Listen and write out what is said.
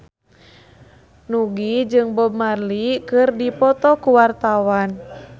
Nugie jeung Bob Marley keur dipoto ku wartawan